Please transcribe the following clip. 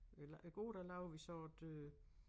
Øh i går der lavede vi så et øh